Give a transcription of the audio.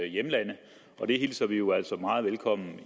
hjemlande og det hilser vi jo altså meget velkommen